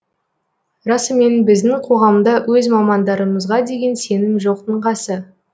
расымен біздің қоғамда өз мамандарымызға деген сенім жоқтың қасы